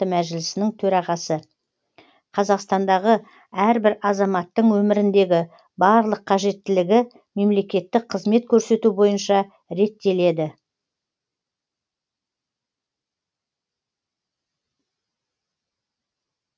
мәжілісінің төрағасы қазақстандағы әрбір азаматтың өміріндегі барлық қажеттілігі мемлекеттік қызмет көрсету бойынша реттеледі